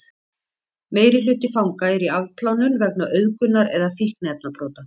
meirihluti fanga er í afplánun vegna auðgunar eða fíkniefnabrota